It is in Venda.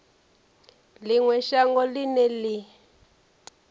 ḽi ṅwe shango ḽine ḽi